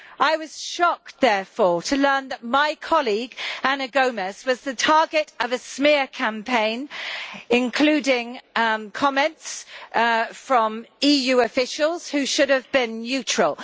I was shocked, therefore, to learn that my colleague Ana Gomes was the target of a smear campaign, including comments from EU officials, who should have been neutral.